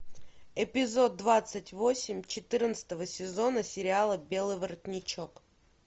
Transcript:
эпизод двадцать восемь четырнадцатого сезона сериала белый воротничок